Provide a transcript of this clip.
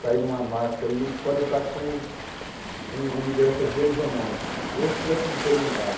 sair numa marcha e eles podem estar com com lideranças deles ou não, ou se estiver tudo desorientado.